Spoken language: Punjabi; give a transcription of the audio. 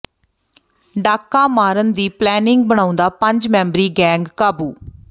ਡਾਕਾ ਮਾਰਨ ਦੀ ਪਲੈਨਿੰਗ ਬਣਾਉਂਦਾ ਪੰਜ ਮੈਂਬਰੀ ਗੈਂਗ ਕਾਬੂੂ